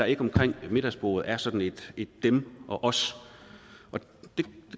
ikke omkring middagsbordet er sådan et dem og os det